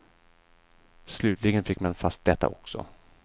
Slutligen fick man fast detta också.